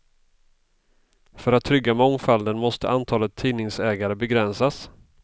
För att trygga mångfalden måste antalet tidningsägare begränsas.